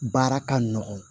Baara ka nɔgɔn